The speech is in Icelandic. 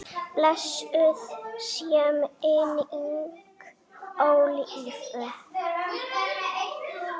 Blessuð sé minning Ólafíu.